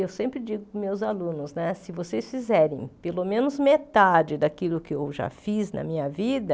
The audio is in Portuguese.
Eu sempre digo para os meus alunos né, se vocês fizerem pelo menos metade daquilo que eu já fiz na minha vida,